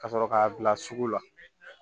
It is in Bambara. Ka sɔrɔ k'a bila sugu la